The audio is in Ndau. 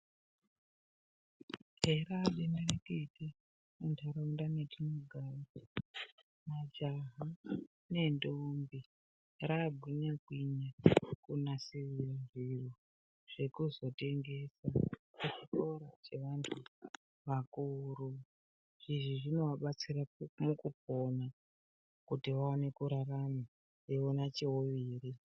Kani raa denderekete, muntharaunda mwetinogara, majaha nendombi, raagunyakwinya, kunasirira zviro, zvekuzotengesa kuchikora chevanthu vakuru. Izvi zvinovabatsira mukupona, kuti vaone kurarama, veiona cheuviri.